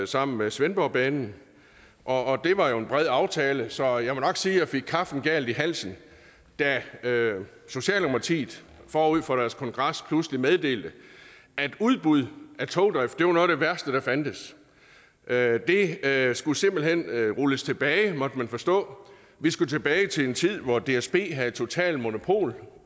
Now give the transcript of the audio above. sammen med svendborgbanen og det var jo en bred aftale så jeg må nok sige at jeg fik kaffen galt i halsen da socialdemokratiet forud for deres kongres pludselig meddelte at udbud af togdrift var det værste der fandtes det skulle simpelt hen rulles tilbage måtte man forstå vi skulle tilbage til en tid hvor dsb havde totalt monopol og